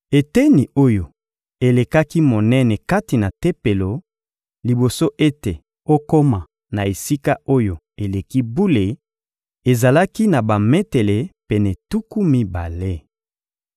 Eteni oyo elekaki monene kati na Tempelo, liboso ete okoma na Esika-Oyo-Eleki-Bule, ezalaki na bametele pene tuku mibale.